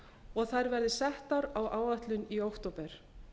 og þær verði settar á áætlun í október